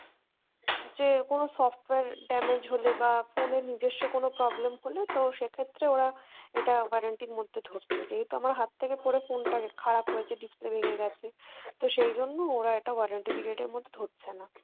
যে কোনো software damage হলে বা phone এর নিজস্ব কোনো problem হলে তো সেক্ষেত্রে ওরা এটা warranty র মধ্যে ধরতো, যেহেতু আমার হাত থেকে পড়ে phone টা খারাপ হয়েছে display ভেঙে গেছে, তো সেইজন্য ওরা এটা warranty period এর মধ্যে ধরছেনা।